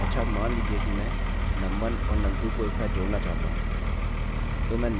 अच्छा अब मान लीजिये कि मैं num1 और num2 को एक साथ जोड़ना चाहता हूँ